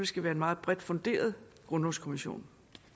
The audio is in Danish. skal være en meget bredt funderet grundlovskommission